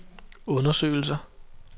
undersøgelser